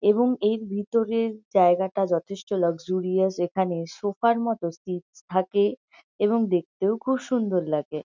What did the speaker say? এবং এই ভিতরের জায়গাটা যথেষ্ট লাক্সরিয়াস এখানে সোফা -র মতো স্টেজ থাকে এবং দেখতেও খুব সুন্দর লাগে।